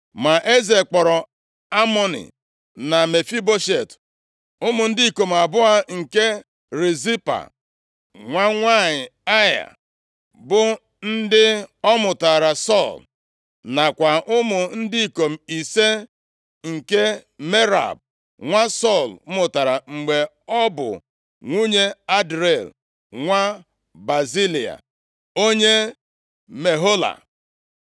Ma eze kpọọrọ Amoni na Mefiboshet, ụmụ ndị ikom abụọ nke Rizpa, nwa nwanyị Aịa, bụ ndị ọ mụtaara Sọl. Nakwa ụmụ ndị ikom ise nke Merab nwa Sọl mụtara mgbe ọ bụ nwunye Adriel, nwa Bazilai onye Mehola.